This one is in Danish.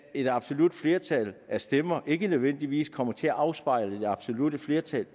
et absolut flertal af stemmer ikke nødvendigvis kommer til at afspejle det absolutte flertal